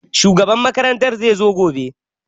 Shugaban makaranta zai zo gobe